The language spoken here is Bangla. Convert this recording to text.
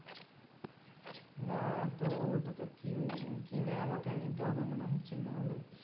না তো ওটা তো কি~ কিনে আমাকে নিতে হবে মনে হচ্ছে না হলে